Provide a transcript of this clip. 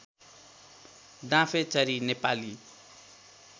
डाँफेचरी Nepali